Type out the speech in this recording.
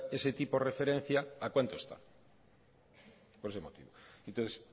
es ese tipo referencia a cuanto está